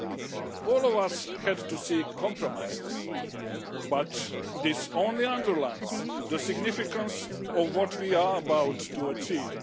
We have all had to seek compromises, but this only underlines the significance of what we are about to achieve.